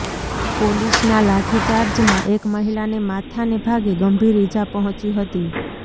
પોલીસના લાઠીચાર્જમાં એક મહિલાને માથાને ભાગે ગંભીર ઈજા પહોંચી હતી